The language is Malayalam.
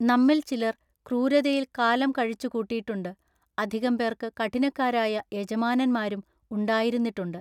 നമ്മിൽ ചിലർ ക്രൂരതയിൽ കാലം കഴിച്ചുകൂട്ടിട്ടുണ്ട് അധികം പേർക്ക് കഠിനക്കാരായ യജമാനന്മാരും ഉണ്ടായിരുന്നിട്ടുണ്ട്.